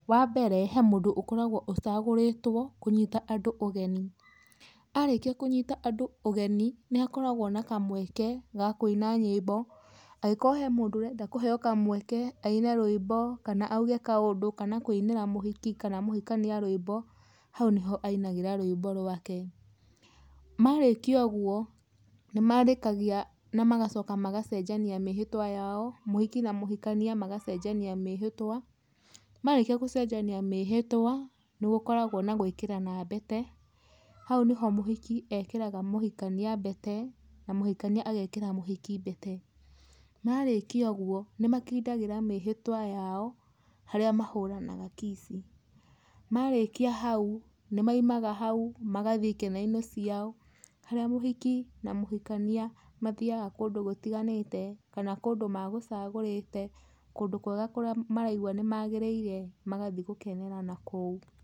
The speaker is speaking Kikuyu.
Wa mbere, he mũndũ ũkoragwo ũcagũrĩtwo kũnyite andũ ũgeni. Arĩkia kũnyita andũ ũgeni nĩ hakoragwo na kamweke ga kũina nyĩmbo angĩkorwo harĩ mũndũ ũrenda kĩheo kamweke aine rwĩmbo kana auge kaũndũ kana auge kaũndũ kana kũinĩra mũhiki kana mũhikania rwĩmbo hau nĩyo ainagĩra rwĩmbo rwake. Marĩkia ũguo nĩ marĩkagia na macokaga magacenjania mĩhĩtwa yao mũhiki na mũhikania magacenjania mĩhĩtwa, marĩkia gũcenjania mĩhĩtwa, nĩ gĩkoragwo na gwĩkĩrana mbete. Hau nĩho mũhiki ekĩraga mũhikania mbete na mũhikania agekĩra mũhiki mbete na marĩkia ũguo nĩ makindagĩra mĩhĩtwa yao harĩa mahũranaga kiss. Marĩkia hau nĩ maumaga magathiĩ ikeno-inĩ ciao harĩa mũhiki na mũhikania, mathiaga kũndũ gũtiganĩte kana kũndũ magũcagũrĩte, kũndũ kwega kũrĩa maraigua nĩ magĩrĩire magathiĩ gũkenera na kũu.